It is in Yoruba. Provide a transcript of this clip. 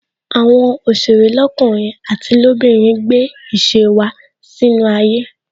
Àwọn òsèré lọkunrin àti lobinrin gbé ìṣe wá sínú ayé